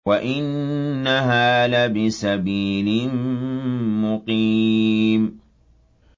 وَإِنَّهَا لَبِسَبِيلٍ مُّقِيمٍ